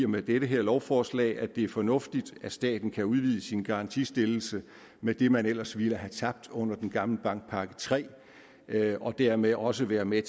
med dette lovforslag at det er fornuftigt at staten kan udvide sin garantistillelse med det man ellers ville have tabt under den gamle bankpakke iii og dermed også være med